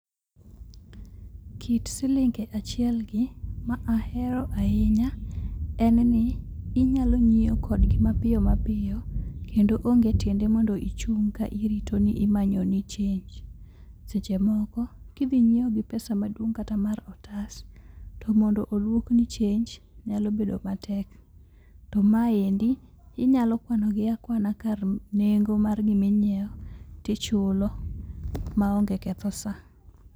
Kit silinge achiel gi ma ahero ahinya en ni inyalo nyiewo kodgi mapiyo, kendo onge tiende mondo ichung' ka irito ni imanyo ni chenj. Seche moko kidhi nyiewo gi pesa maduong' kata mar otas to mondo oduokni chenj nyalo bedo matek. To ma endi inyalo kwano gi akwana kar nengo mar gima inyiewo tichulo maonge ketho saa.